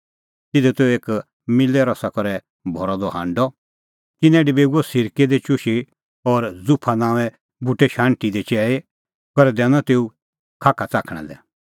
तिधी त एक मिल्लै रसा करै भरअ द हांडअ तिन्नैं डबेऊअ सिरकै दी चुशू और ज़ुफा नांओंए बूटे शाण्हटी दी चैल़ी करै दैनअ तेऊए खाखा च़ाखणा लै